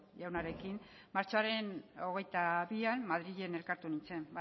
jaunarekin martxoaren hogeita bian madrilen elkartu nintzen